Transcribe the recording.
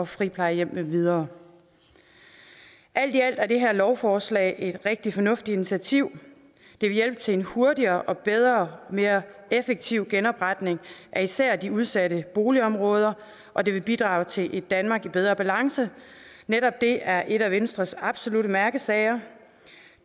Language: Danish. friplejehjem med videre alt i alt er det her lovforslag et rigtig fornuftigt initiativ det vil hjælpe til en hurtigere bedre og mere effektiv genopretning af især de udsatte boligområder og det vil bidrage til et danmark i bedre balance netop det er et af venstres absolutte mærkesager